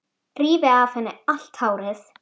Rífi af henni allt hárið.